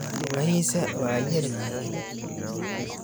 Lugahisa waa yar yihiin.